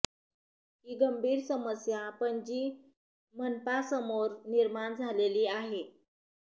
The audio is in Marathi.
ही गंभीर समस्या पणजी मनपासमोर निर्माण झालेली आहे